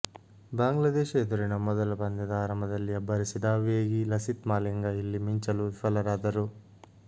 ಬಾಂಗ್ಲಾದೇಶ ಎದುರಿನ ಮೊದಲ ಪಂದ್ಯದ ಆರಂಭದಲ್ಲಿ ಅಬ್ಬರಿಸಿದ ವೇಗಿ ಲಸಿತ್ ಮಾಲಿಂಗ ಇಲ್ಲಿ ಮಿಂಚಲು ವಿಫಲರಾದರು